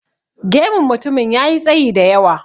Gemun mutumin ya yi tsayi da yawa.